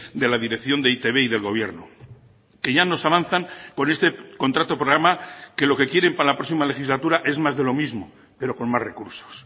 de la dirección de e i te be y del gobierno que ya nos avanzan con este contrato programa que lo que quieren para la próxima legislatura es más de lo mismo pero con más recursos